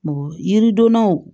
Mɔgɔ yiridonnaw